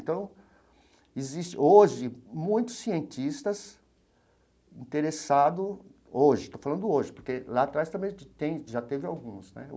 Então, existe hoje muitos cientistas interessado hoje, estou falando hoje, porque lá atrás também tem já teve alguns né.